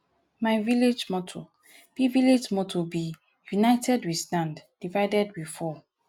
my village motto be village motto be united we stand divided we fall